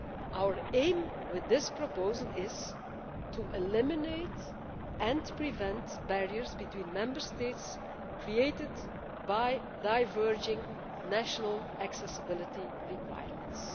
Our aim with this proposal is to eliminate and prevent barriers between Member States created by diverging national accessibility requirements.